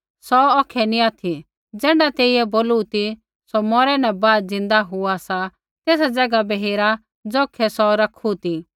सौ औखै नी ऑथि ज़ैण्ढा तेइयै बोलू ती सौ मौरै न बाद ज़िन्दा हुआ सा एज़ा तेसा ज़ैगा बै हेरा ज़ौखै सौ रैखू ती